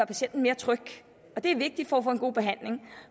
patienten mere tryg og det er vigtigt for at få en god behandling